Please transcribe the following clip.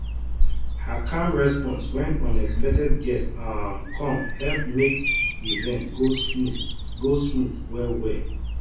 her calm response wen unexpected guest um come help make event go smooth go smooth well well